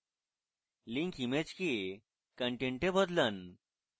link image কে content এ বদলান